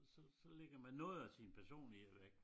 Så så lægger man noget af sin personlighed væk